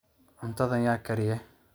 cuntadhan yaa kariye